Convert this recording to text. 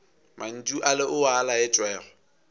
mantšu ale o a laetšwego